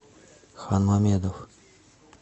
ханмамедов